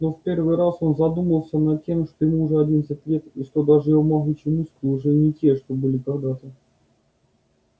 но в первый раз он задумался над тем что ему уже одиннадцать лет и что даже его могучие мускулы уже не те что были когда-то